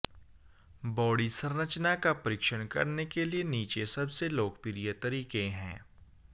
body संरचना का परीक्षण करने के लिए नीचे सबसे लोकप्रिय तरीके हैं